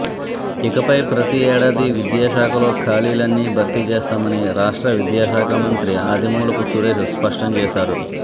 ఇకపై ప్రతీ ఏడాది విద్యాశాఖలో ఖాళీలన్నీ భర్తీ చేస్తామని రాష్ట్ర విద్యాశాఖ మంత్రి ఆదిమూలపు సురేష్ స్పష్టం చేశారు